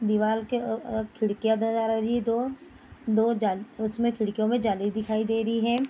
दीवाल के अ अ खिड़कियाँ नजर आ रही है दो दो जाल उसमें खिड़कियों में जाली दिखाई देरी है।